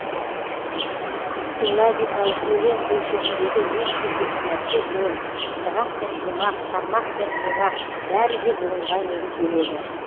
силлабикалық өлең өлшеміндегі ең шешуші нәрсе буын ырғақ пен шумақ тармақ пен бунақ бәрі де буынға негізделеді